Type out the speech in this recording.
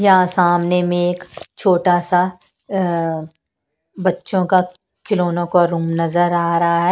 यहां सामने में एक छोटा सा बच्चों का खिलौनों का रूम नजर आ रहा है।